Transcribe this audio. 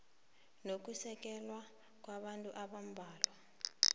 nokusekela kwabantu abambalwa